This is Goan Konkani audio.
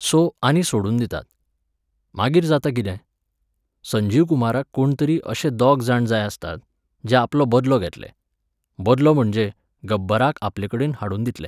सो, आनी सोडून दितात. मागीर जाता कितें? संजीव कुमाराक कोण तरी अशे दोग जाण जाय आसतात, जे आपलो बदलो घेतले. बदलो म्हणजे, गब्बराक आपलेकडेन हाडून दितले.